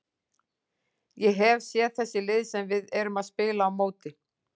Ég hef séð þessi lið sem við erum að spila á móti.